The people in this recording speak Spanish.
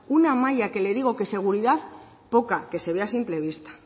una malla que le digo que seguridad poca que se ve a simple vista